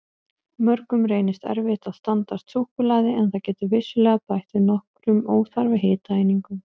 Mörgum reynist erfitt að standast súkkulaði en það getur vissulega bætt við nokkrum óþarfa hitaeiningum.